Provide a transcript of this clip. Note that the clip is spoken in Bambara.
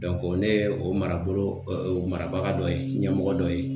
ne ye o marabolo o marabaga dɔ ye ɲɛmɔgɔ dɔ ye.